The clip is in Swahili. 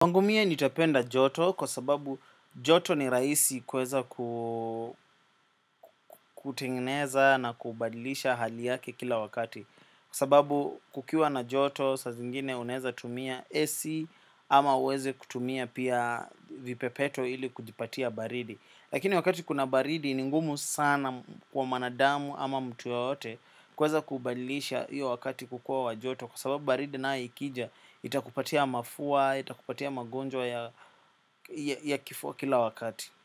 Kwangu mie nitapenda joto kwa sababu joto ni rahisi kuweza ku kutengeneza na kubadilisha hali yake kila wakati. Kwa sababu kukiwa na joto saa zingine unaweza tumia AC ama uweze kutumia pia vipepeto ili kujipatia baridi. Lakini wakati kuna baridi ni ngumu sana kwa mwanadamu ama mtu yoyote kuweza kubadilisha iyo wakati kukua wa joto kwa sababu baridi nayo ikija, itakupatia mafua, itakupatia magonjwa ya ya kifua kila wakati.